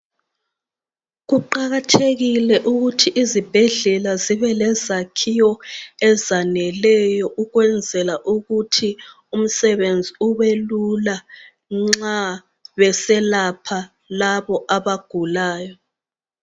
Kuqakathekile ukuthi izibhedlela zibe lezakhiwo ezaneleyo ukwenzela ukuthi umsebenzi ubelula nxa beselapha labo abagulayo